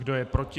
Kdo je proti?